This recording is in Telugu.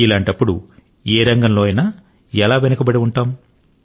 ఇలాంటప్పుడు ఏ రంగంలో అయినా ఎలా వెనుకబడి ఉంటాము